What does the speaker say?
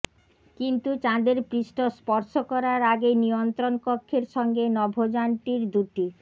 কিন্তু চাঁদের পৃষ্ঠ স্পর্শ করার আগেই নিয়ন্ত্রণকক্ষের সঙ্গে নভোযানটির দুটি